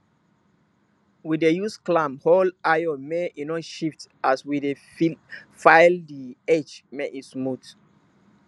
we dey use clamp hold iron make e no shift as we dey file di edge make e smooth